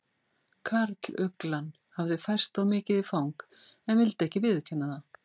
Karluglan hafði færst of mikið í fang en vildi ekki viðurkenna það.